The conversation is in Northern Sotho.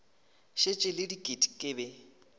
šetše le diket ke be